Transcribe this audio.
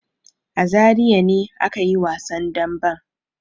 A Zariya ne aka yi wasan damben.